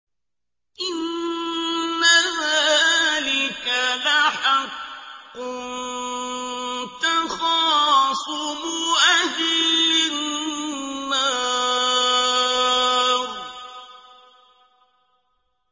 إِنَّ ذَٰلِكَ لَحَقٌّ تَخَاصُمُ أَهْلِ النَّارِ